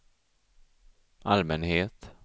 allmänhet